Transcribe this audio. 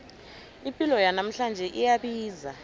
ipilo yanamhlanje iyabiza